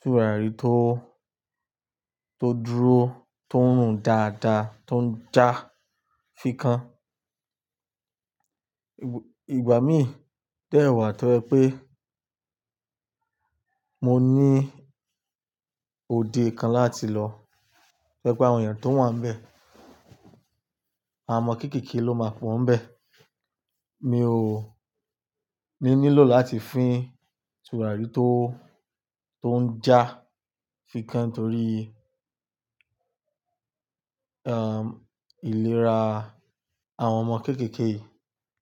tùràrí tó, tó dúró, tó ń rùn dáadáa, tó ń jà fíkan. Ìgbà míì dẹ́ wà tó jẹ pé mo ní òde kan láti lọ, to je pé àwọn èèyàn tó wà nbẹ̀. Àwọn ọmọ kéékèèké ló máa fọ́n bẹ́ẹ̀. Mi ò ní nílò láti fín tùràrí tó, tó ń jà fíkan torí, ìlera àwọn ọmọ kéékèèké.